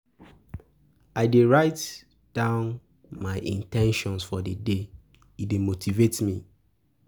I dey write down my in ten tions for the day; e dey motivate me.